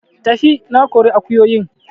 Tafi! Na kori akuyoyin